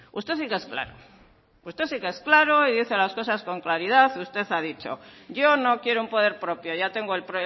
usted sí que es claro y dice las cosas con claridad usted ha dicho yo no quiero un poder propio ya tengo el